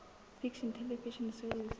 fiction television series